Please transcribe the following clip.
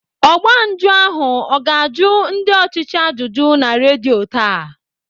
Ọgba njụ ahụ ọ ga-ajụ ndị ọchịchị ajụjụ na redio taa?